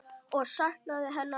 Og saknaði hennar oft.